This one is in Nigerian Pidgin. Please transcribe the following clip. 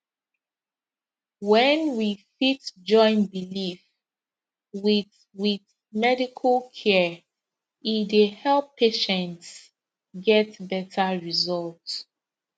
when we fit join belief with with medical care e dey help patients get better result